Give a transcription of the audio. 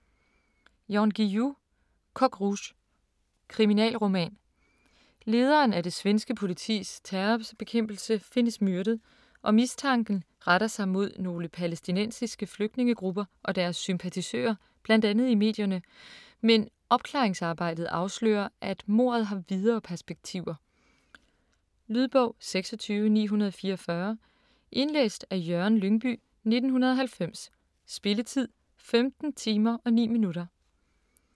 Guillou, Jan: Coq Rouge Kriminalroman. Lederen af det svenske politis terrorbekæmpelse findes myrdet, og mistanken retter sig mod nogle palæstinensiske flygtningegrupper og deres sympatisører bl.a. i medierne, men opklaringsarbejdet afslører, at mordet har videre perspektiver. . Lydbog 26944 Indlæst af Jørgen Lyngbye, 1990. Spilletid: 15 timer, 9 minutter.